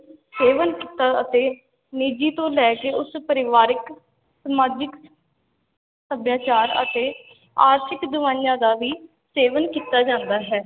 ਸੇਵਨ ਕੀਤਾ ਅਤੇ ਨਿੱਜੀ ਤੋਂ ਲੈ ਕੇ ਉਸ ਪਰਿਵਾਰਕ, ਸਮਾਜਿਕ ਸਭਿਆਚਾਰ ਅਤੇ ਆਰਥਿਕ ਦਵਾਈਆਂ ਦਾ ਵੀ ਸੇਵਨ ਕੀਤਾ ਜਾਂਦਾ ਹੈ।